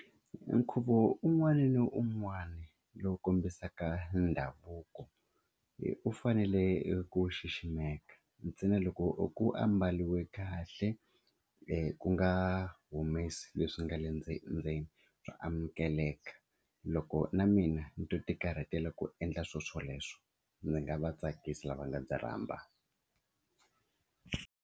Nkhuvo un'wana na un'wana lowu kombisaka ndhavuko wu fanele ku xiximeka ntsena loko u ku aku ambariwi kahle ku nga humese leswi nga le ndzenindzeni swo amukeleka loko na mina ni to ti karhatela ku endla swilo swoleswo ndzi nga va tsakisa lava nga ndzi rhamba.